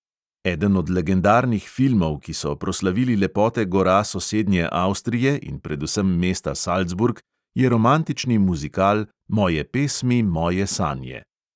Eden od legendarnih filmov, ki so proslavili lepote gora sosednje avstrije in predvsem mesta salzburg, je romantični muzikal "moje pesmi, moje sanje".